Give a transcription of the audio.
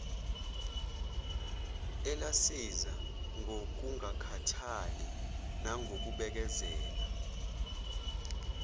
elasiza ngokungakhathali nangokubekezela